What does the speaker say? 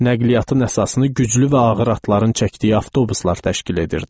Nəqliyyatın əsasını güclü və ağır atların çəkdiyi avtobuslar təşkil edirdi.